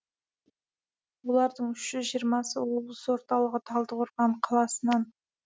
олардың үш жүз жиырмасы облыс орталығы талдықорған қаласынан